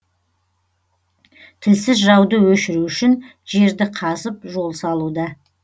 тілсіз жауды өшіру үшін жерді қазып жол салуда